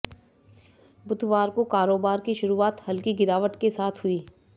बुधवार को कारोबार की शुरूआत हल्की गिरावट के साथ हुई